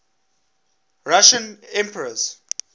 russian emperors